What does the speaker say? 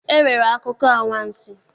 E nwere akụkọ anwansi.